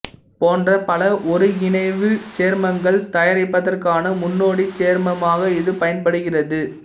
போன்ற பல ஒருங்கிணைவுச் சேர்மங்கள் தயாரிப்பதற்கான முன்னோடிச் சேர்மமாக இது பயன்படுகிறது